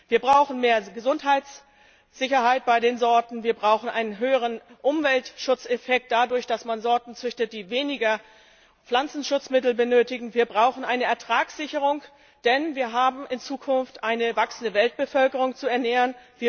Wir brauchen mehr Gesundheitssicherheit bei den Sorten, wir brauchen einen höheren Umweltschutzeffekt dadurch, dass man Sorten züchtet, die weniger Pflanzenschutzmittel benötigen, wir brauchen eine Ertragssicherung, denn wir haben in Zukunft eine wachsende Weltbevölkerung zu ernähren.